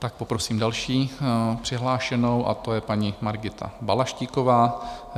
Tak poprosím další přihlášenou, a tou je paní Margita Balaštíková.